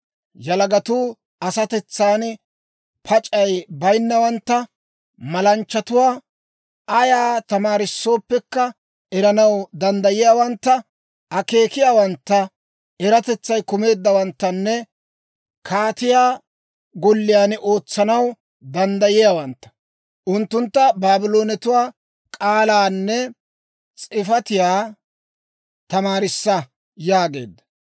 Yalagatuu asatetsan pac'ay bayinnawantta, malanchchatuwaa, ayaa tamaarissooppekka eranaw danddayiyaawantta, akeekiyaawantta, eratetsay kumeeddawanttanne kaatiyaa golliyaan ootsanaw danddayiyaawantta. Unttuntta Baabloonetuwaa k'aalaanne s'ifatiyaa tamaarissa» yaageedda.